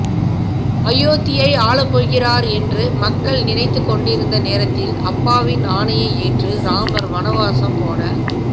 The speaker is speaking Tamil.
அயோத்தியை ஆளப்போகிறார் என்று மக்கள் நினைத்துக்கொண்டிருந்த நேரத்தில் அப்பாவின் ஆணையை ஏற்று ராமர் வனவாசம் போன